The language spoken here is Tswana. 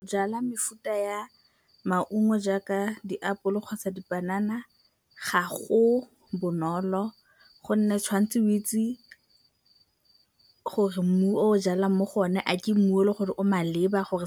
Jala mefuta ya maungo jaaka diapole kgotsa dipanana ga go bonolo gonne tshwan'tse o itse gore mmu o jalang mo go o ne a ke mmu o le gore o maleba gore